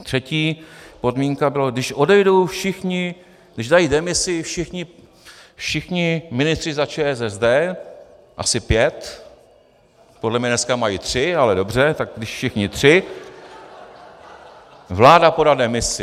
Třetí podmínky byla, když odejdou všichni, když dají demisi všichni ministři za ČSSD, asi pět, podle mě dneska mají tři, ale dobře, tak když všichni tři , vláda podá demisi.